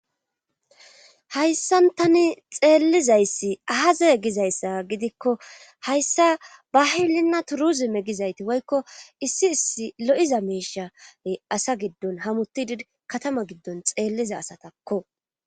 hayssan tani xeellizayssi ahaze gizayssa gidikko hayssa bahilinna turuzime gizayti woykko issi issi lo7iza miishae asa giddon hamutidi katama giddon xeelliza asatakko